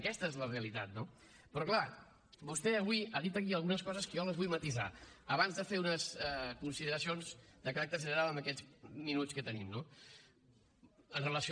aquesta és la realitat no però clar vostè avui ha dit aquí algunes coses que jo les vull matisar abans de fer unes consideracions de caràcter general en aquests minuts que tenim no amb relació